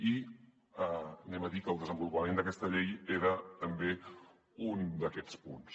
i direm que el desenvolupament d’aquesta llei era també un d’aquests punts